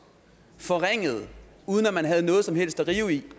forringet uden at man havde noget som helst at gribe